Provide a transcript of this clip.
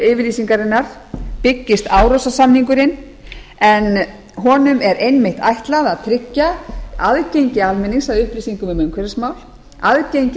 yfirlýsingarinnar byggist árósasamningurinn en honum er einmitt ætlað að tryggja aðgengi almennings að upplýsingum um upplýsingamál aðgengi